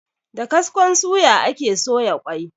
Da kaskon suya ake soya ƙwai.